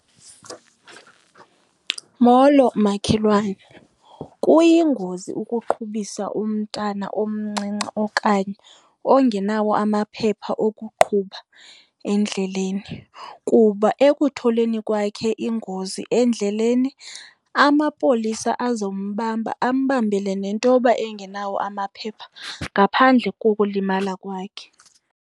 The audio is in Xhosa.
Molo, makhelwane. Kuyingozi ukuqhubisa umntana omncinci okanye ongenawo amaphepha okuqhuba endleleni kuba ekutholeni kwakhe ingozi endleleni amapolisa azombamba ambambele nentoba engenawo amaphepha ngaphandle kokulima kwakhe.